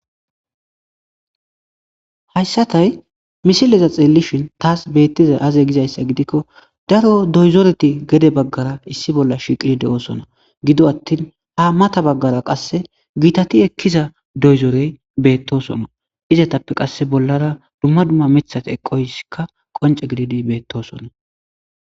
Haysatay missileza xelishe tas betizaysa aze giko daro doyzoreti gede bagara issi bola shiqetide'osona gido atin ha mata bagara qasi gitatiekiza doyzorey betosona izatape qase bolara duma duma mithati eqoysika qonc'e gididi betosona.